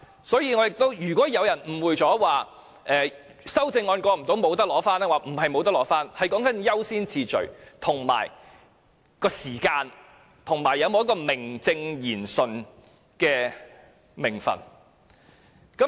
所以，如果有人誤會了修正案未能通過，便不能取回骨灰，並非如此，而是優先次序和時間，以及有否名正言順的名份的問題。